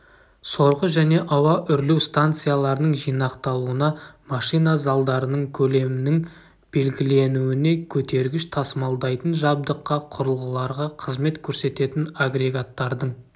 сорғы және ауа үрлеу станцияларының жинақталуына машина залдарының көлемінің белгіленуіне көтергіш-тасымалдайтын жабдыққа құрылғыларға қызмет көрсететін агрегаттардың